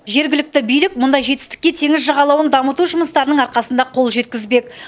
жергілікті билік мұндай жетістікке теңіз жағалауын дамыту жұмыстарының арқасында қол жеткізбек